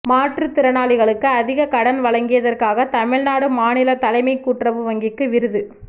மாற்றுத் திறனாளிகளுக்கு அதிகக் கடன் வழங்கியதற்காக தமிழ்நாடு மாநிலத் தலைமைக் கூட்டுறவு வங்கிக்கு விருது